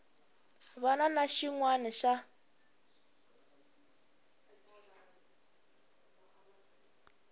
wana ni xin wana xa